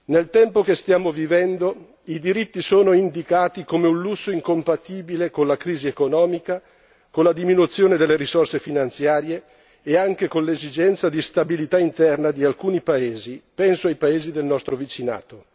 Nel tempo che stiamo vivendo i diritti sono indicati come un lusso incompatibile con la crisi economica, con la diminuzione delle risorse finanziarie e anche con l'esigenza di stabilità interna di alcuni paesi penso ai paesi del nostro vicinato.